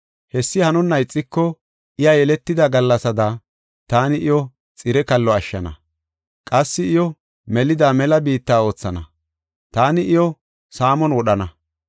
Hessi hanonna ixiko iya yeletida gallasaada, taani iyo xire kallo ashshana. Qassi iyo melida mela biitta oothana; taani iyo saamon wodhana.